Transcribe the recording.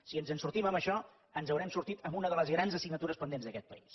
si ens en sortim en això ens n’haurem sortit en una de les grans assignatures pendents d’aquest país